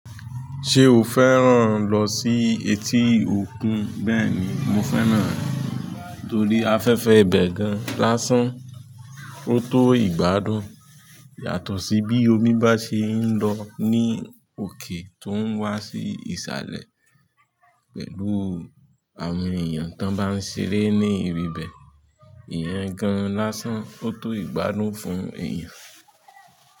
Ṣé o fẹ́ràn lọ sí etí òkun? Bẹ́ẹ̀ni, mo fẹ́ràn rẹ̀ torí afẹ́fẹ́ ibẹ̀ gan lásán ó tó ìgbádùn. Yàtọ̀ sí bí omi bá ṣee ń lọ ní òkè tó ń wá sí ìsàlẹ̀ pẹ̀lú àwọn èyàn tó bá ń ṣeré ní ibi ibẹ̀. Ìyẹn gan-an lásán kótó ìgbádùn fún èèyàn.